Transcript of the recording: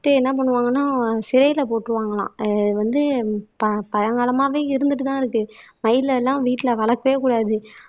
First என்ன பண்ணுவாங்கன்னா சிறையில போட்டுருவாங்கலாம். அது வந்து ப பழங்காலமாவே இருந்துட்டுதான் இருக்கு மயில எல்லாம் வீட்டுல வளர்க்கவே கூடாது